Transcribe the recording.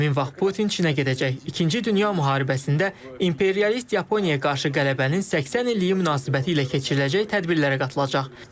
Həmin vaxt Putin Çinə gedəcək, ikinci dünya müharibəsində imperialist Yaponiyaya qarşı qələbənin 80 illiyi münasibətilə keçiriləcək tədbirlərə qatılacaq.